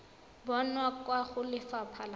bonwa kwa go lefapha la